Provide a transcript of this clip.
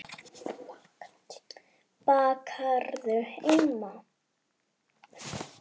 Bakarðu heima?